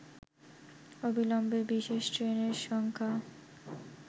অবিলম্বে বিশেষ ট্রেনের সংখ্যা